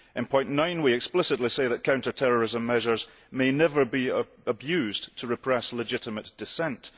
In point 9 we explicitly say that counter terrorism measures may never be abused to repress legitimate dissent.